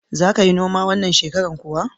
Za ka yi noma wannan shekarar kuwa?